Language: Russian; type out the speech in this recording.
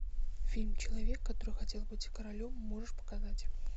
фильм человек который хотел быть королем можешь показать